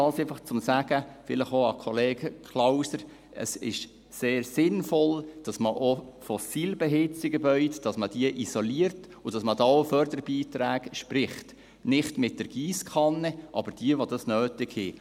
Dies, einfach, um – vielleicht auch zu Kollege Klauser – zu sagen: Es ist sehr sinnvoll, dass man auch fossilbeheizte Gebäude isoliert und dass man da auch Förderbeiträge spricht – nicht mit der Giesskanne, aber für die, die es nötig haben.